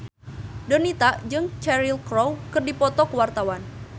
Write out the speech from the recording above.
Donita jeung Cheryl Crow keur dipoto ku wartawan